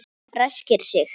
Ræskir sig.